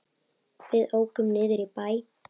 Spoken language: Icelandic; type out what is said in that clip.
Við ókum niður í bæ.